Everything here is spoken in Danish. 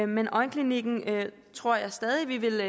men øjenklinikken tror jeg stadig vi vil